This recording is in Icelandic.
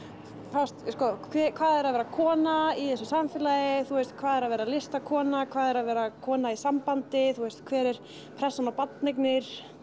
fást sko hvað er að vera kona í þessu samfélagi þú veist hvað er að vera listakona hvað er að vera kona í sambandi þú veist hver er pressan á barneignir